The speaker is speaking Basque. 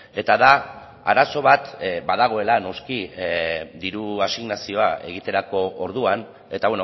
eta da arazo bat badagoela noski diru asignazioa egiterako orduan eta